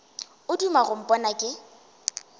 o duma go mpona ke